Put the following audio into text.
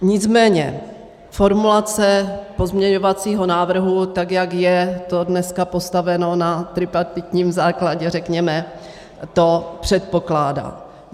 Nicméně formulace pozměňovacího návrhu, tak jak je to dneska postaveno na tripartitním základě, řekněme, to předpokládá.